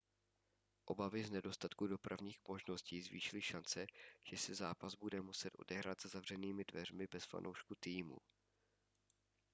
obavy z nedostatku dopravních možností zvýšily šance že se zápas bude muset odehrát za zavřenými dveřmi bez fanoušků týmu